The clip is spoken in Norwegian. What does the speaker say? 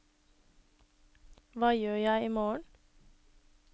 hva gjør jeg imorgen